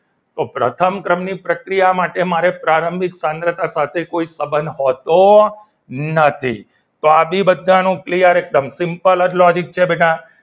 તો પ્રથમ ક્રમની પ્રક્રિયા માટે મારે પ્રારંભિક સાંદ્રતા માટે કોઈ સંબંધ હોતો નથી તો આજે બધાનું clear એકદમ simple logic છે બેટા